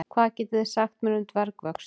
Hvað getið þið sagt mér um dvergvöxt?